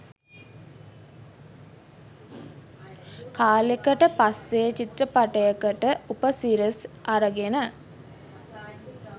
කාලෙකට පස්සේ චිත්‍රපටයකට උපසිරසි අරගෙන